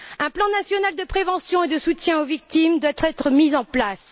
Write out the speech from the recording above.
Un plan national de prévention et de soutien aux victimes doit être mis en place.